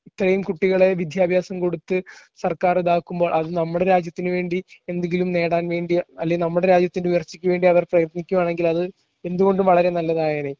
ഇത്രയും കുട്ടികളെ വിദ്യാഭ്യാസം കൊടുത്ത് സർക്കാർ ഇതാക്കുമ്പോൾ നമ്മുടെ രാജ്യത്തിന് വേണ്ടി എന്തെങ്കിലും നേടാൻ വേണ്ടി അല്ലേൽ നമ്മുടെ രാജ്യത്തിൻറെ ഉയർച്ചയ്ക്ക് വേണ്ടി അവർ പ്രയത്നിക്കയാണെങ്കിൽ അത് എന്തുകൊണ്ടും വളരെ നല്ലതായേനെ.